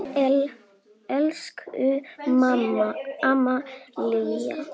Elsku amma Lísa.